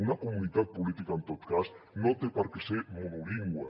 una comunitat política en tot cas no té per què ser monolingüe